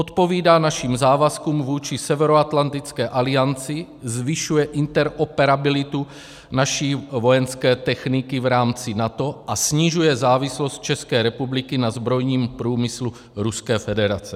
Odpovídá našim závazkům vůči Severoatlantické alianci, zvyšuje interoperabilitu naší vojenské techniky v rámci NATO a snižuje závislost České republiky na zbrojním průmyslu Ruské federace.